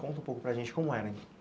Conta um pouco para gente como era.